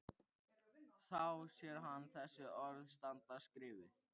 Þá sér hann þessi orð standa skrifuð: